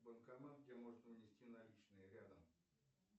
банкомат где можно внести наличные рядом